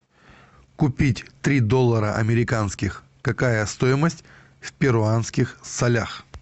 купить три доллара американских какая стоимость в перуанских солях